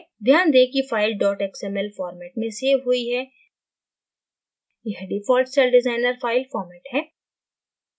ध्यान दें कि file xml format में सेव हुई है यह default celldesigner file format है